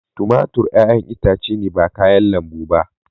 Tumatur 'ƴa'ƴan itace ne ba kayan lambu ba.